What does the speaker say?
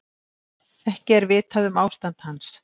Ekki er vitað um ástand hans